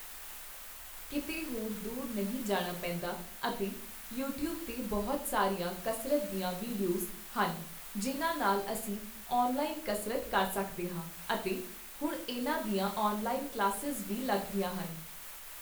ਕਿਤੇ ਹੋਰ ਦੂਰ ਨਹੀਂ ਜਾਣਾ ਪੈਂਦਾ ਅਤੇ ਯੂਟਿਊਬ 'ਤੇ ਬਹੁਤ ਸਾਰੀਆਂ ਕਸਰਤ ਦੀਆਂ ਵੀਡੀਓਜ਼ ਹਨ, ਜਿਨ੍ਹਾਂ ਨਾਲ ਅਸੀਂ ਔਨਲਾਇਨ ਕਸਰਤ ਕਰ ਸਕਦੇ ਹਾਂ ਅਤੇ ਹੁਣ ਇਹਨਾਂ ਦੀਆਂ ਔਨਲਾਈਨ ਕਲਾਸਿਜ਼ ਵੀ ਲੱਗਦੀਆਂ ਹਨ